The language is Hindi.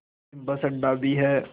अंतिम बस अड्डा भी है